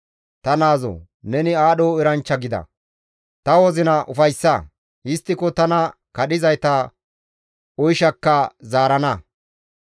Ta naazoo! Neni aadho eranchcha gida; ta wozina ufayssa; histtiko tana kadhizayta oyshakka zaarana.